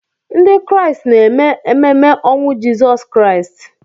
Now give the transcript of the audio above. Ndị Kraịst na-eme ememe ọnwụ Jizọs Kraịst